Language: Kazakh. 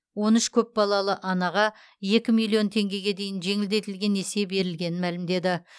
он үш көпбалалы анаға екі миллион теңгеге дейін жеңілдетілген несие берілгенін мәлімдеді